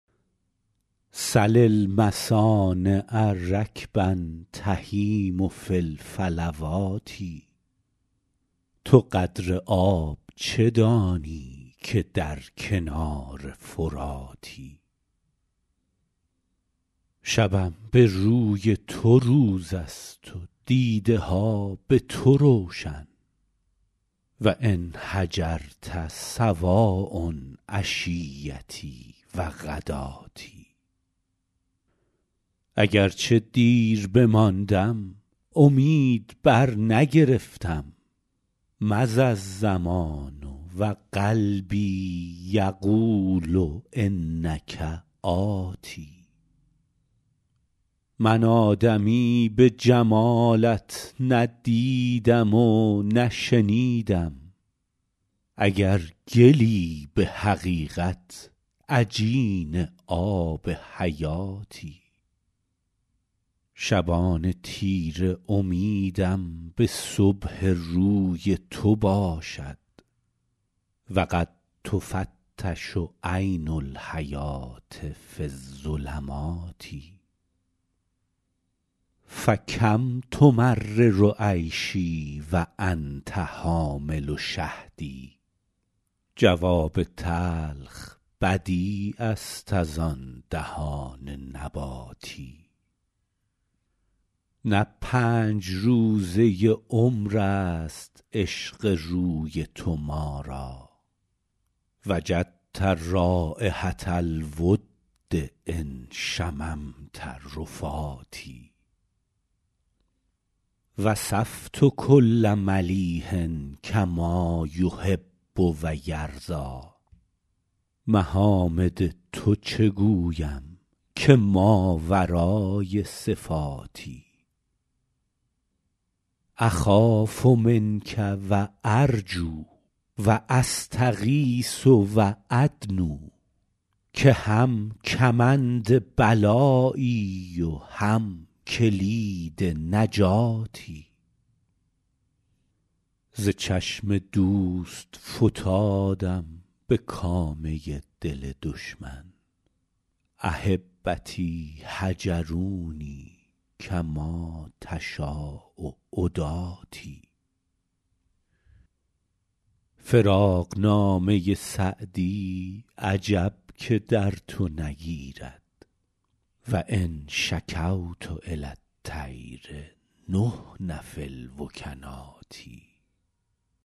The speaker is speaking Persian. سل المصانع رکبا تهیم فی الفلوات تو قدر آب چه دانی که در کنار فراتی شبم به روی تو روز است و دیده ها به تو روشن و إن هجرت سواء عشیتي و غداتي اگر چه دیر بماندم امید برنگرفتم مضی الزمان و قلبي یقول إنک آت من آدمی به جمالت نه دیدم و نه شنیدم اگر گلی به حقیقت عجین آب حیاتی شبان تیره امیدم به صبح روی تو باشد و قد تفتش عین الحیوة في الظلمات فکم تمرر عیشي و أنت حامل شهد جواب تلخ بدیع است از آن دهان نباتی نه پنج روزه عمر است عشق روی تو ما را وجدت رایحة الود إن شممت رفاتي وصفت کل ملیح کما یحب و یرضیٰ محامد تو چه گویم که ماورای صفاتی أخاف منک و أرجو و أستغیث و أدنو که هم کمند بلایی و هم کلید نجاتی ز چشم دوست فتادم به کامه دل دشمن أحبتي هجروني کما تشاء عداتي فراقنامه سعدی عجب که در تو نگیرد و إن شکوت إلی الطیر نحن في الوکنات